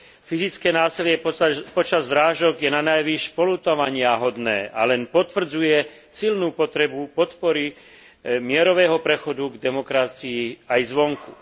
Fyzické násilie počas zrážok je nanajvýš poľutovaniahodné a len potvrdzuje silnú potrebu podpory mierového prechodu k demokracii aj zvonku.